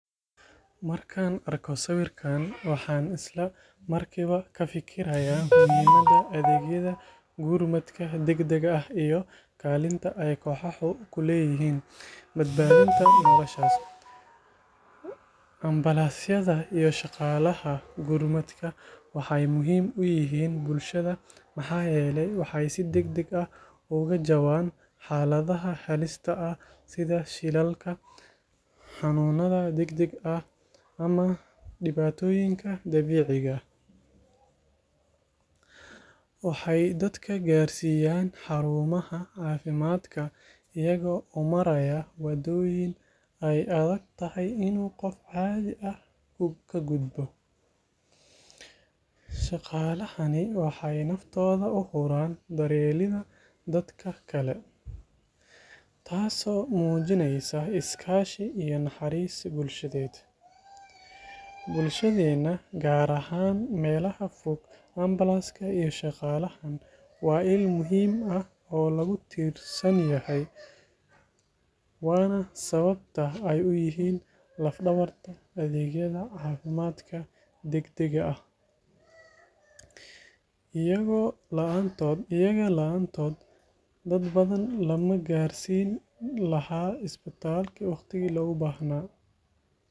Markaan arko sawirkan, waxaan isla markiiba ka fikirayaa muhiimadda adeegyada gurmadka degdega ah iyo kaalinta ay kooxahan ku leeyihiin badbaadinta nolosha. Ambalaasyada iyo shaqaalaha gurmadka waxay muhiim u yihiin bulshada maxaa yeelay waxay si degdeg ah uga jawaabaan xaaladaha halista ah sida shilalka, xanuunada degdega ah ama dhibaatooyinka dabiiciga ah. Waxay dadka gaarsiiyaan xarumaha caafimaadka iyagoo u maraya waddooyin ay adag tahay in qof caadi ah ku gudbo. Shaqaalahani waxay naftooda u huraan daryeelidda dadka kale, taasoo muujinaysa is-kaashi iyo naxariis bulsheed. Bulshadeenna, gaar ahaan meelaha fog, ambalaaska iyo shaqaalahan waa il muhiim ah oo lagu tiirsan yahay, waana sababta ay u yihiin laf-dhabarta adeegyada caafimaadka degdegga ah. Iyaga la’aantood, dad badan lama gaarsiin lahaa isbitaalka waqtigii loogu baahnaa.